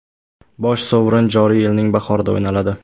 Bosh sovrin joriy yilning bahorida o‘ynaladi.